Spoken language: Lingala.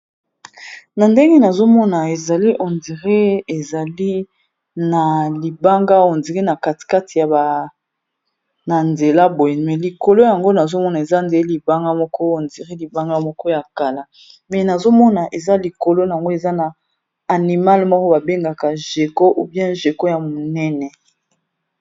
na ndenge nazomona ezali hondire ezali na libanga hondir na katikate ya na nzela boy me likolo yango nazomona eza nde libanga moko hondiré libanga moko ya kala me nazomona eza likolo yango eza na animale moko babengaka jeco ubian jeko ya monene